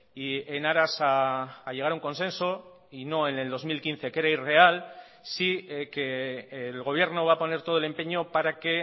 y en aras a llegar a un consenso y no en el dos mil quince que era irreal sí que el gobierno va a poner todo el empeño para que